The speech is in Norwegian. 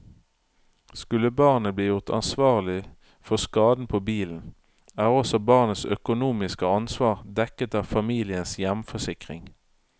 Skulle barnet bli gjort ansvarlig for skaden på bilen, er også barnets økonomiske ansvar dekket av familiens hjemforsikring.